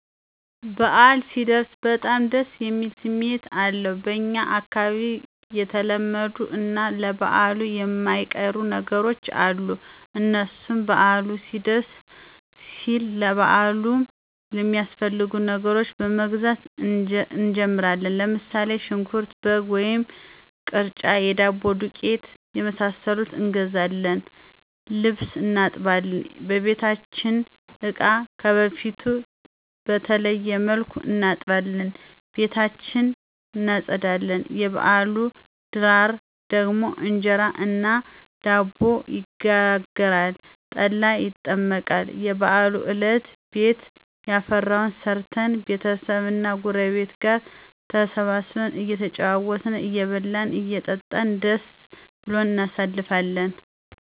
በአል ሲደርስ በጣም ደስ የሚል ስሜት አለዉ። በኛ አካባቢ የተለመዱ እና ለበአል የማይቀሩ ነገሮች አሉ። እነሱም በአሉ ሊደርስ ሲል ለበአሉ የሚያስፈልጉ ነገሮችን በመግዛት እንጀምራለን። ለምሳሌ ሽንኩርት፣ በግ ወይም ቅርጫ፣ የዳቦ ዱቄት የመሳሰሉትን እንገዛለን። ልብስ እናጥባለን፣ የበቤታችንን እቃ ከበፊቱ በተለየ መልኩ እናጥባለን፣ ቤታችን እናፀዳለን። የበአሉ ድራር ደግሞ እንጀራ እና ዳቦ ይጋገራል፣ ጠላ ይጠመቃል። የበአሉ አለት ቤት ያፈራዉን ሰርተን ቤተሰብ እና ጉረቤት ጋር ተሰባስበን እየተጨዋወትን አየበላን አየጠጣን ደስ ብሉን እናሳልፍለን